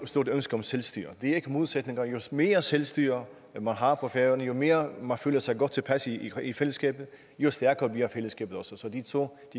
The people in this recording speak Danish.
stort ønske om selvstyre det er ikke modsætninger jo mere selvstyre man har på færøerne jo mere man føler sig godt tilpas i i fællesskabet jo stærkere bliver fællesskabet også så de to